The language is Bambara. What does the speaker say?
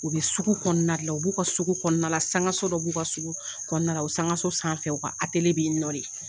U bɛ sugu kɔnɔna de la, u b'u ka sugu kɔnɔnala, sankaso dɔ b'u ka sugu kɔnɔnala, o sankaso sanfɛ u ka atele b'i nɔ de.